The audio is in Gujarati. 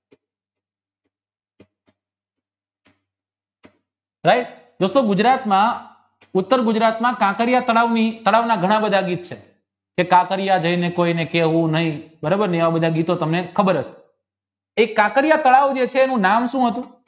right દોસ્તો ગુજરાતના ઉત્તરગુજરાતના કાંકરિયા તળાવના ઘણા દેશ છે કે કાંકરિયા જાયને કોઈને કહેવું નહિ ને એવા બધા ગીતો તમને ખબરહશે એક કાંકરિયા તળાવ છે એનું નામ સુ હતું